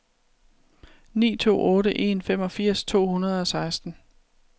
ni to otte en femogfirs to hundrede og seksten